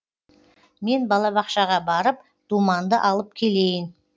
мен балабақшаға барып думанды алып келейін